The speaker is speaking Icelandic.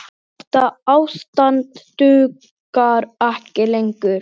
Þetta ástand dugar ekki lengur.